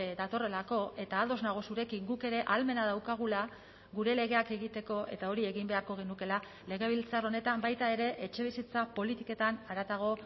datorrelako eta ados nago zurekin guk ere ahalmena daukagula gure legeak egiteko eta hori egin beharko genukeela legebiltzar honetan baita ere etxebizitza politiketan haratago